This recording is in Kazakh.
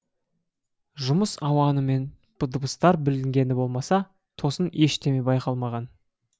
жұмыс ауанымен дыбыстар білінгені болмаса тосын ештеме байқалмаған